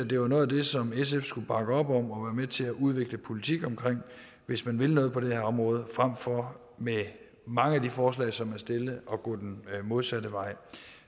det var noget af det som sf skulle bakke op om og være med til udvikle politik omkring hvis man vil noget på det her område frem for med mange af de forslag som er stillet at gå den modsatte vej